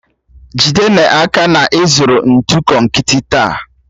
Jide n'aka na ị zụrụ ntụ konkịtị taa